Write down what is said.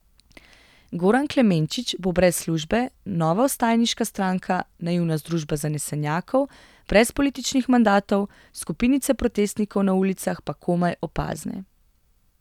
Goran Klemenčič bo brez službe, nova vstajniška stranka, naivna združba zanesenjakov, brez političnih mandatov, skupinice protestnikov na ulicah pa komaj opazne.